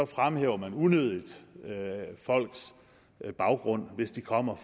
fremhæver man unødigt folks baggrund hvis de kommer